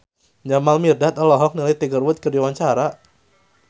Jamal Mirdad olohok ningali Tiger Wood keur diwawancara